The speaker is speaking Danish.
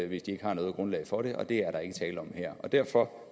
hvis de ikke har noget grundlag for det og det er der ikke tale om her derfor